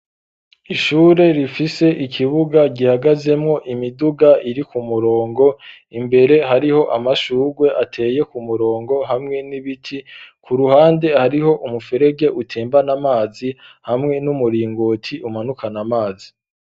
Ishure rifise ikibuga gihagazemo imiduga iri ku murongo imbere hariho amashugwe ateye ku murongo hamwe n'ibiti ku ruhande hariho umufurege utembana amazi hamwe n'umuringoti umanukana amazi.